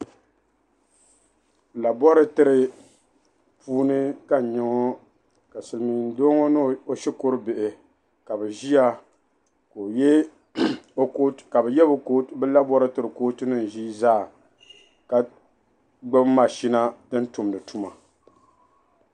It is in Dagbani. "Laboratory" ni puuni ka n-nyɛ o ka silimiin'doo ŋɔ ni o shikuru bihi ka be ʒiya ka be ye be "laboratory" cootunima ʒii zaa ka gbubi machina din tumdi tuma.